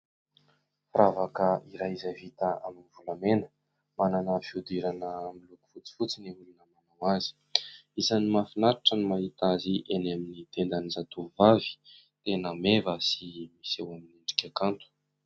Firavaka iray izay vita amin'ny volamena, manana fihodirana miloko fotsifotsy ny olona manao azy, isany mahafinaritra no mahita azy eny amin'ny tendan'ny zatovovavy, tena meva sy miseho amin'ny endrika kanto.